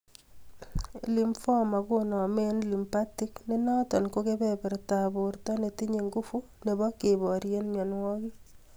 Lymphoma konome en lymphatic ne noton ko kebebertab borto netinye nguvu nebo koberien myonwogik